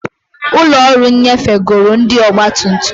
Ụlọ ọrụ nnyefe goro ndị ọgba tum tum.